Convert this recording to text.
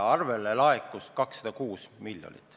Arvele laekus 206 miljonit.